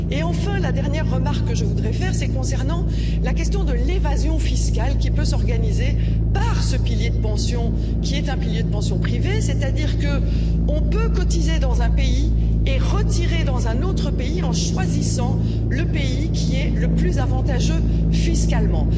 Enfin, la dernière remarque que je voudrais faire concerne la question de l'évasion fiscale, qui peut s'organiser par ce pilier de pension, qui est un pilier de pension privée il est possible de cotiser dans un pays et de toucher sa pension dans un autre pays, en choisissant le pays qui est le plus avantageux fiscalement.